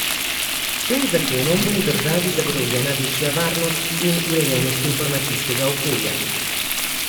S tem zakonom bo v državi zagotovljena večja varnost in urejenost informacijskega okolja.